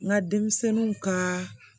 N ka denmisɛnninw ka